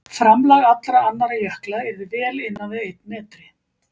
Framlag allra annarra jökla yrði vel innan við einn metri.